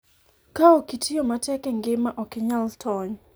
ka ok itiyo matek e ngima ,ok inyal tony